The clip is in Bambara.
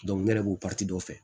ne yɛrɛ b'o dɔ fɛ